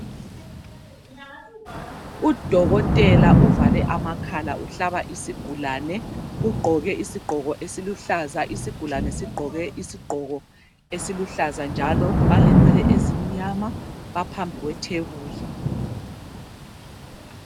Udokotela uvale amakhala uhlaba isigulane. Ugqoke isigqoko esiluhlaza, isigulane sigqoke isigqoko esiluhlaza njalo balenwele ezimnyama baphambi kwethebuli.